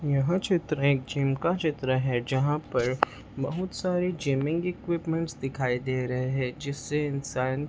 यह चित्र एक जिम का चित्र है जहां पर बहोत सारी जीमींग इक्विपमेंटस् दिखाई दे रहे हैं जिससे इंसान--